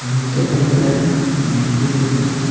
मिर्चा देख रहे हैं नींबू देख रहे हैं।